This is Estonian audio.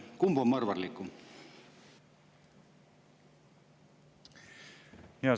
Kumb on mõrvarlikum?